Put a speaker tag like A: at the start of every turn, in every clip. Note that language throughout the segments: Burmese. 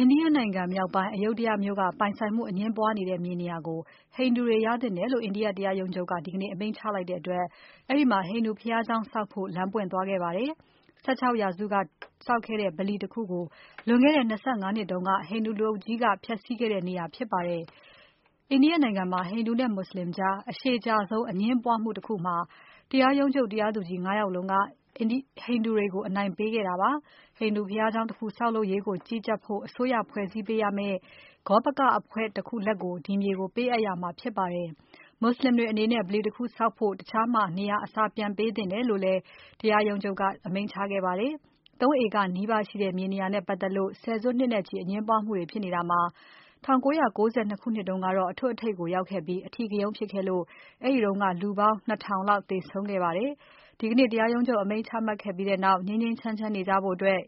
A: အိန္ဒိယနိုင်ငံမြောက်ပိုင်း Ayodhya မြို့က အငြင်းပွားနေတဲ့ မြေနေရာကို ဟိန္ဒူတွေ ရသင့်တယ်လို့ အိန္ဒိယ တရားရုံးချုပ်က ဒီကနေ့ အမိန့်ချလိုက်တဲ့အတွက် အဲဒီမှာ ဟိန္ဒူဘုရားကျောင်းဆောက်ဖို့ လမ်းပွင့်သွားခဲ့ပါတယ်။ ၁၆ ရာစုထဲက ဆောက်ခဲ့တဲ့ ဗလီတခုကို လွန်ခဲ့တဲ့ ၂၅ နှစ်တုန်းက ဟိန္ဒူလူအုပ်ကြီးက ဖျက်ဆီးခဲ့တဲ့နေရာ ဖြစ်ပါတယ်။ အိန္ဒိယနိုင်ငံမှာ ဟိန္ဒူနဲ့ မွတ်စလင်ကြား အရှည်ကြာဆုံး အငြင်းပွားမှုတခုမှာ တရားရုံးချုပ် တရားသူကြီး ၅ ယောက်လုံးက ဟိနူ္ဒတွေကို အနိုင်ပေးခဲ့တာပါ။ မွတ်စလင်တွေအနေနဲ့ ဗလီတခုဆောက်ဖို့ တခြားမှာ နေရာအစား ပြန်ပေးသင့်တယ်လို့လည်း အမိန့်ချခဲ့ပါတယ်။ ၃ ဧကနီးပါးရှိတဲ့ မြေနေရာနဲ့ပတ်သက်လို့ ဆယ်စုနှစ်နဲ့ချီ အငြင်းပွားမှုတွေ ဖြစ်ခဲ့တာမှာ ၁၉၉၂ ခုနှစ်ကတော့ အထွတ်အထိပ်ရောက်ခဲ့ပြီး အဓိကရုဏ်းဖြစ်ခဲ့လို့ အဲဒီတုန်းက လူပေါင်း ၂ ထောင်လောက် သေဆုံးခဲ့ကြပါတယ်။ ဒီကနေ့ တရားရုံးချုပ် အမိန့်ချမှတ်ခဲ့ပြီးနောက် ငြိမ်းငြိမ်းချမ်းချမ်းနေကြဖို့ ဟိန္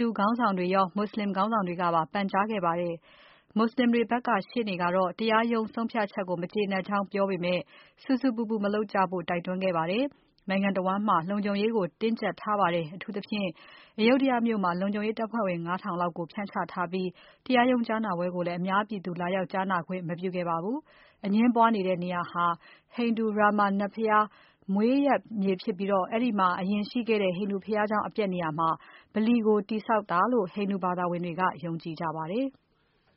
A: ဒူခေါင်းဆောင်တွေရော မွတ်စလင်ခေါင်းဆောင်တွေကပါ ပန်ကြားခဲ့ကြပါတယ်။ မွတ်စလင်တွေဘက်က ရှေ့နေကတော့ တရားရုံးဆုံးဖြတ်ချက်ကို မကျေနပ်ကြောင်းပြောပေမယ့် ဆူဆူပူပူ မလုပ်ကြဖို့ တိုက်တွန်းခဲ့ပါတယ်။ နိုင်ငံတဝန်းမှာ လုံခြုံရေးတွေကို တင်းကျပ်ထားပြီး အထူးသဖြင့် Ayodhya မြို့မှာ လုံခြုံရေးတပ်ဖွဲ့ဝင် ၅ ထောင်လောက်ကို ဖြန့်ချထားခဲ့ပြီး တရားရုံးကြားနာပွဲကိုလည်း အများပြည်သူ လာရောက်ကြားနာခွင့် မပြုခဲ့ပါဘူး။ အငြင်းပွားနေတဲ့နေရာဟာ ဟိန္ဒူ Rama နတ်ဘုရား မွေးရပ်မြေဖြစ်ပြီး အဲဒီမှာ အရင်ရှိခဲ့တဲ့ ဟိန္ဒူဘုရားကျောင်း အပျက်နေရာမှာ ဗလီကို တည်ဆောက်ထားတာလို့ ဟိန္ဒူဘာသာဝင်တွေက ယုံကြည်ကြပါတယ်။